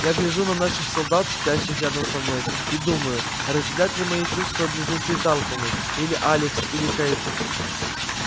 я гляжу на наших солдат спящих рядом со мной и думаю разделят ли мои чувства близнецы тарлтоны или алекс или кэйд